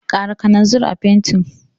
Ƙara kananzir a fentin.